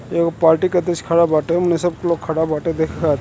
एगो पार्टी के अध्यछ खड़ा बाटे ओमें सब लोग खड़ा बाटे देखे खातिर |